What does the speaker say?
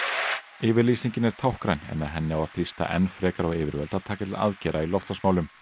yfirlýsingin er táknræn en með henni á að þrýsta enn frekar á yfirvöld að taka til aðgerða í loftslagsmálum